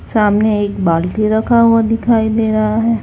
सामने एक बाल्टी रखा हुआ दिखाई दे रहा है।